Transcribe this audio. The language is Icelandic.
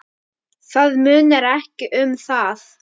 Það munar ekki um það.